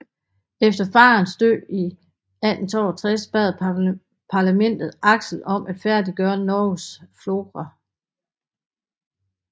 Efter farens død i 1862 bad Parlamentet Axel om at færdiggøre Norges Flora